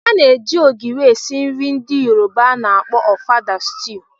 A na-eji ogiri esi nri ndị Yoruba na akpọ ofada sitew.